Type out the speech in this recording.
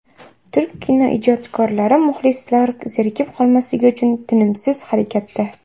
Turk kinoijodkorlari muxlislar zerikib qolmasligi uchun tinimsiz harakatda.